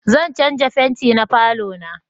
Zan canja fenti na falo na